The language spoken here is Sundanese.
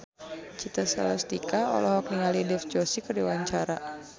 Citra Scholastika olohok ningali Dev Joshi keur diwawancara